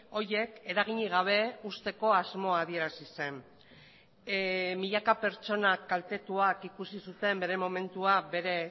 horiek eraginik gabe uzteko asmoa adierazi zen milaka pertsonak kaltetuak ikusi zuten bere momentua bere